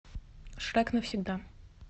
шрек навсегда